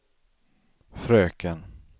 fröken